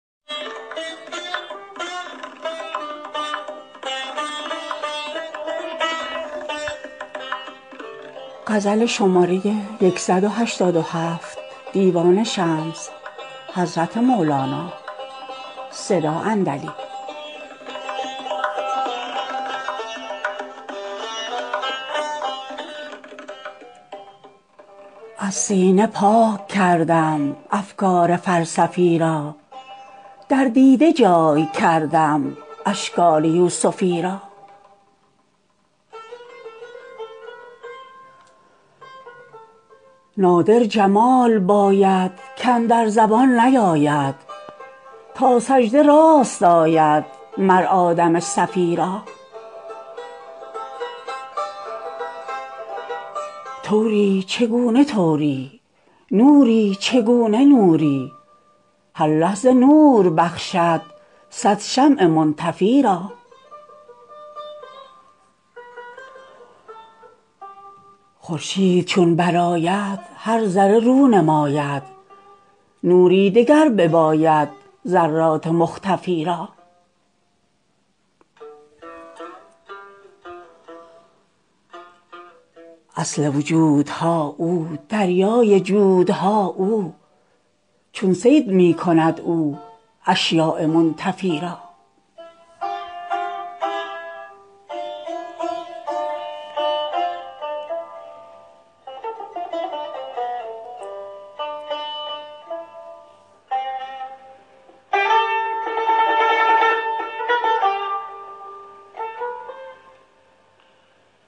از سینه پاک کردم افکار فلسفی را در دیده جای کردم اشکال یوسفی را نادر جمال باید کاندر زبان نیاید تا سجده راست آید مر آدم صفی را طوری چگونه طوری نوری چگونه نوری هر لحظه نور بخشد صد شمع منطفی را خورشید چون برآید هر ذره رو نماید نوری دگر بباید ذرات مختفی را اصل وجودها او دریای جودها او چون صید می کند او اشیاء منتفی را